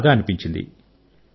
నాకు బాగా అనిపించింది